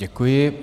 Děkuji.